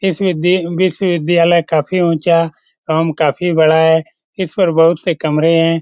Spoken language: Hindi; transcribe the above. इस विदी विश्वविद्यालय काफ़ी ऊँचा एवं काफी बड़ा है इस पर बहुत से कमरे हैं।